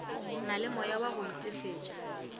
na le moyawa go itefetša